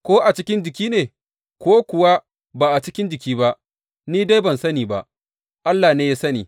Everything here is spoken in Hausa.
Ko a cikin jiki ne, ko kuwa ba a cikin jiki ba, ni dai ban sani ba, Allah ne ya sani.